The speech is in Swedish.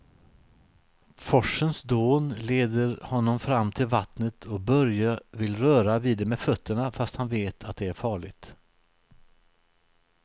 Forsens dån leder honom fram till vattnet och Börje vill röra vid det med fötterna, fast han vet att det är farligt.